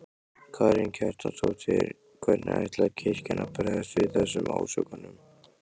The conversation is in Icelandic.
Karen Kjartansdóttir: Hvernig ætlar kirkjan að bregðast við þessum ásökunum?